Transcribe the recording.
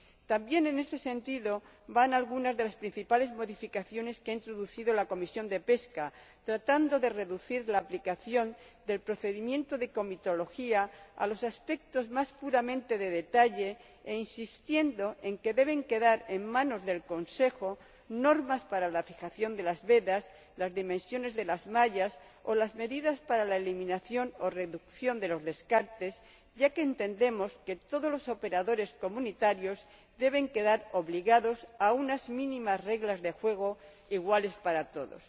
También en este sentido van algunas de las principales modificaciones que ha introducido la Comisión de Pesca tratando de reducir la aplicación del procedimiento de comitología a los aspectos más puramente de detalle e insistiendo en que deben quedar en manos del Consejo normas para la fijación de las vedas, las dimensiones de las mallas o las medidas para la eliminación o reducción de los descartes, ya que entendemos que todos los operadores comunitarios deben quedar obligados a unas mínimas reglas de juego iguales para todos.